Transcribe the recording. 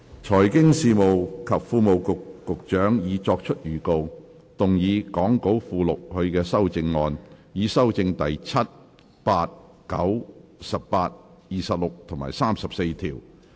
財經事務及庫務局局長已作出預告，動議講稿附錄他的修正案，以修正第7、8、9、18、26及34條。